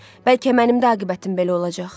Bəlkə mənim də aqibətim belə olacaq.